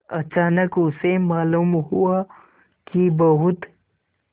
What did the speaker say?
अचानक उसे मालूम हुआ कि बहुत